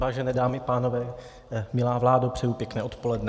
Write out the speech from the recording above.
Vážené dámy a pánové, milá vládo, přeji pěkné odpoledne.